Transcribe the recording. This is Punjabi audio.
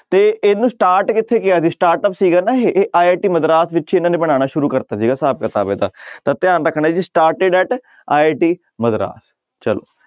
ਤੇ ਇਹਨੂੂੰ start ਕਿੱਥੇ ਕੀਆ ਜੀ startup ਸੀਗਾ ਨਾ ਇਹ ਇਹ IT ਮਦਰਾਸ ਵਿੱਚ ਇਹਨਾਂ ਨੇ ਬਣਾਉਣਾ ਸ਼ੁਰੂ ਕਰ ਦਿੱਤਾ ਸੀਗਾ ਹਿਸਾਬ ਕਿਤਾਬ ਇਹਦਾ ਤਾਂ ਧਿਆਨ ਰੱਖਣਾ ਜੀ started at IT ਮਦਰਾਸ ਚਲੋ।